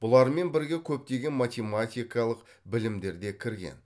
бұлармен бірге көптеген математикалық білімдер де кірген